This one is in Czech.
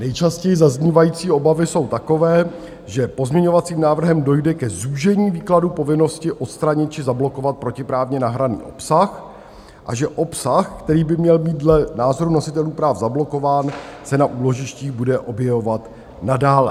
Nejčastěji zaznívající obavy jsou takové, že pozměňovacím návrhem dojde k zúžení výkladu povinnosti odstranit či zablokovat protiprávně nahraný obsah a že obsah, který by měl být dle názoru nositelů práv zablokován, se na úložištích bude objevovat nadále.